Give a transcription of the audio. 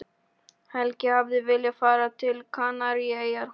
Helgi hafði viljað fara til Kanaríeyja.